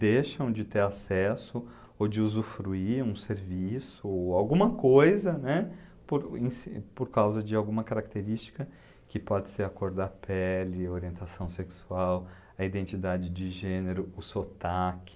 deixam de ter acesso ou de usufruir um serviço ou alguma coisa, né, por, inse, por causa de alguma característica que pode ser a cor da pele, orientação sexual, a identidade de gênero, o sotaque.